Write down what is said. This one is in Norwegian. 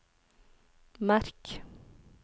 merk